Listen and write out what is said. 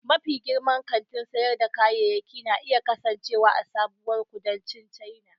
Mafi girman kantin sayar da kayayyaki na iya kasancewa a sabuwar kudancin China.